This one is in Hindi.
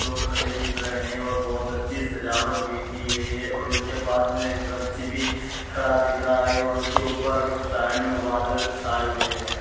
लोग खड़े दिख रहे हैं और बहोत अच्छी सजावट भी की गई है और इसके पास मे एक वृक्छ भी खड़ा दिख रहा है और इसके ऊपर साइड में बादल छाये हुए हैं।